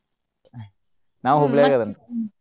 ನಾವು ಹುಬ್ಳಿ ಯಾವ್ರ ಅದೇವ್ರಿ.